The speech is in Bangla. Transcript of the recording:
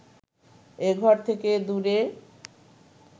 এ ঘর থেকে দূরে